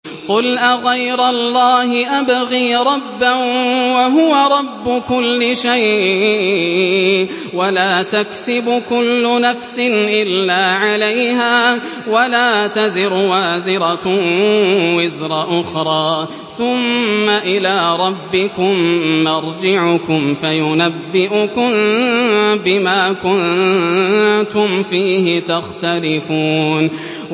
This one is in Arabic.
قُلْ أَغَيْرَ اللَّهِ أَبْغِي رَبًّا وَهُوَ رَبُّ كُلِّ شَيْءٍ ۚ وَلَا تَكْسِبُ كُلُّ نَفْسٍ إِلَّا عَلَيْهَا ۚ وَلَا تَزِرُ وَازِرَةٌ وِزْرَ أُخْرَىٰ ۚ ثُمَّ إِلَىٰ رَبِّكُم مَّرْجِعُكُمْ فَيُنَبِّئُكُم بِمَا كُنتُمْ فِيهِ تَخْتَلِفُونَ